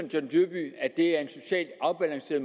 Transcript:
at det er at se